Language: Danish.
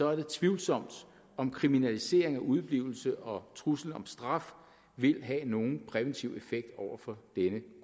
er det tvivlsomt om kriminalisering af udeblivelse og trussel om straf vil have nogen præventiv effekt over for denne